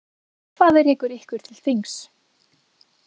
Hvað rekur ykkur til þings?